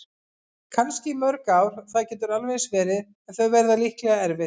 Kannski í mörg ár, það getur alveg eins verið- en þau verða líklega erfið.